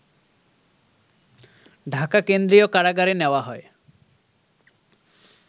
ঢাকা কেন্দ্রীয় কারাগারে নেওয়া হয়